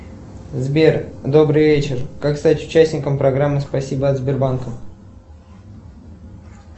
сбер добрый вечер как стать участником программы спасибо от сбербанка